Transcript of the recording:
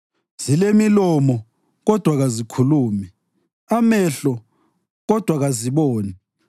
Zilemilomo, kodwa kazikhulumi, amehlo, kodwa kaziboni;